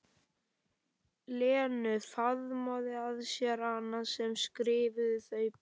Lenu, faðma að sér hana sem skrifaði þau bréf.